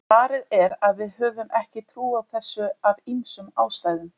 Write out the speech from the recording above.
Svarið er að við höfum ekki trú á þessu af ýmsum ástæðum.